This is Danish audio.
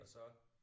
Og så